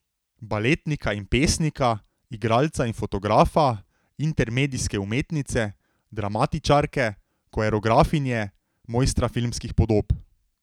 Baletnika in pesnika, igralca in fotografa, intermedijske umetnice, dramatičarke, koreografinje, mojstra filmskih podob.